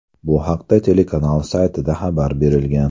Bu haqda telekanal saytida xabar berilgan .